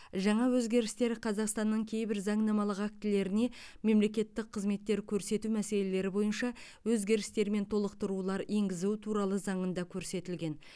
жаңа өзгерістер қазақстанның кейбір заңнамалық актілеріне мемлекеттік қызметтер көрсету мәселелері бойынша өзгерістер мен толықтырулар енгізу туралы заңында көрсетілген